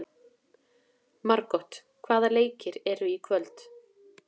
Margot, hvaða leikir eru í kvöld?